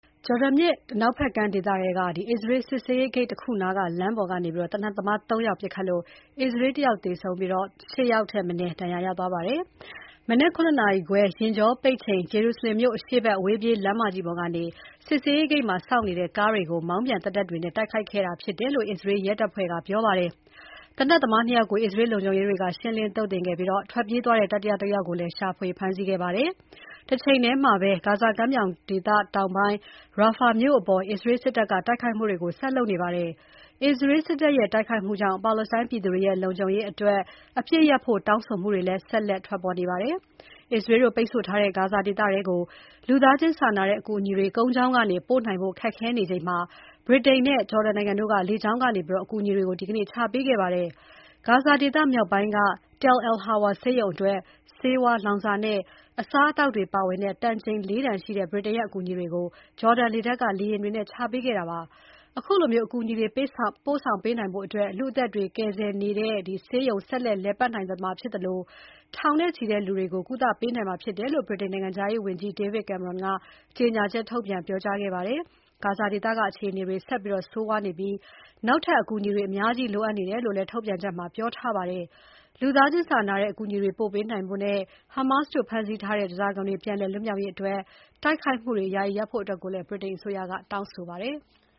ဂျော်ဒန်မြစ်အနောက်ဘက်ကမ်းဒေသထဲက အစ္စရေးတို့ထိန်းချုပ်တဲ့ စစ်ဆေးရေးဂိတ်နားက လမ်းပေါ်မှာ သေနတ်သမား ၃ ယောက် ပစ်ခတ်ခဲ့လို့ အစ္စရေး ၁ ယောက်သေဆုံးပြီး ၈ ယောက်ထက်မနည်း ဒဏ်ရာရခဲ့တယ်လို့ အစ္စရေးရဲတပ်ဖွဲ့က ပြောပါတယ်။ မနက် ၇ နာရီခွဲ ယာဉ်ကြောပိတ်ချိန် Jerusalem မြို့အရှေ့ဘက် အဝေးပြေးလမ်းလမ်ကြီး ပေါ်ကနေ စစ်ဆေးရေးဂိတ်မှာ စောင့်နေတဲ့ ကားတွေကို မောင်းပြန်သေနတ်တွေနဲ့တိုက်ခိုက်ခဲ့တာဖြစ်ပါတယ်။ သေနတ်သမား ၂ ယောက်ကို အစ္စရေးလုံခြုံရေးတွေက ရှင်းလင်း သုတ်သင်ခဲ့ပြီး ထွက်ပြေးသွားတဲ့ တတိယတယောက်ကို ရှာဖွေဖမ်းဆီးခဲ့ပါတယ်။ တချိန်ထဲမှာပဲ ဂါဇာကမ်းမြောင်ဒေသတောင်ပိုင်းက Rafah မြို့အပေါ် အစ္စရေးစစ်တပ်က လေကြောင်းတိုက်ခိုက်မှုတွေကို ဆက်လုပ်နေပါတယ်။ အစ္စရေးစစ်တပ်ရဲ့ တိုက်ခိုက်မှုကြောင့် ပါလက်စတိုင်းပြည်သူတွေရဲ့ လုံခြုံရေးအတွက် နိုင်ငံတကာရဲ့ စိုးရိမ်မှုတွေလည်း ဆက်လက်ကြီးမားနေပါတယ်။ အစ္စရေးတို့ ပိတ်ဆို့ထားတဲ့ ဂါဇာဒေသထဲကို လူသားချင်းစာနာတဲ့အကူအညီတွေ ကုန်းကြောင်းကနေ ပို့နိုင်ဖို့ ခက်ခဲနေချိန်မှာ ဗြိတိန်နဲ့ ဂျော်ဒန်နိုင်ငံတို့က လေကြောင်းကနေ အကူအညီတွေကို ဒီနေ့ ချပေးခဲ့ပါတယ်။ ဂါဇာဒေသမြောက်ပိုင်းက Tal Al-Hawa ဆေးရုံအတွက် ဆေးဝါး၊ လောင်စာနဲ့ အစားအသောက်တွေပါဝင်တဲ့ တန်ချိန် ၄ တန်ရှိတဲ့ ဗြိတိန်ရဲ့ အကူအညီတွေကို ဂျော်ဒန်လေတပ်ကလေယာဉ်တွေနဲ့ ချပေးခဲ့တာပါ။ အခုလိုအကူအညီတွေ ပို့ဆောင်ပေးနိုင်တဲ့အတွက် လူ့အသက်တွေကယ်ဆယ်နေတဲ့ ဆေးရုံ ဆက်လက်လည်ပတ်နိုင်မှာဖြစ်သလို ထောင်နဲ့ချီတဲ့ လူနာတွေကို ကုသပေးနိုင်မှာဖြစ်တယ်လို့ ဗြိတိန်နိုင်ငံခြားရေးဝန်ကြီး David Cameron က ကြေညာချက်ထုတ်ပြန်ပြောကြားခဲ့ပါတယ်။ ဂါဇာဒေသက အခြေအနေတွေ ဆက်လက် ဆိုးဝါးနေပြီး နောက်ထပ် အကူအညီတွေ အများကြီး အမြန်လိုအပ်နေတယ်လို့လည်း ထုတ်ပြန်ချက်ထဲမှာ ပြောကြားထားပါတယ်။ လူသားချင်းစာနာနဲ့ အကူအညီတွေပို့ပေးနိုင်ဖို့နဲ့ Hamas တို့ဖမ်းဆီးထားတဲ့ ဓါးစာခံတွေ ပြန်လွတ်လာရေးအတွက် တိုက်ဆိုင်မှုတွေ ယာယီရပ်ဖို့လည်း ဗြိတိန်က တောင်းဆိုခဲ့ပါတယ်။